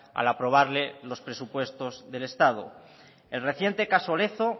al aprobarle los presupuestos del estado el reciente caso lezo